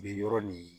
Be yɔrɔ nin